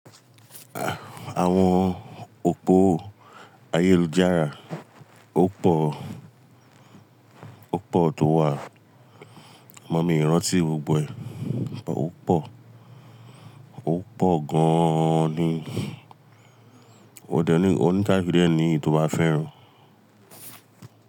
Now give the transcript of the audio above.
Àwọn òpó ayélujára ó pọ̀, ó pọ̀ tó wà. But mí o rántí gbogbo ẹ̀, ó pọ̀, ó pọ̀ gan an ni. O dẹ ni, o ní kaluluku dẹ́ ni eyi tó bá fẹ́ rùn.